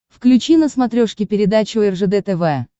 включи на смотрешке передачу ржд тв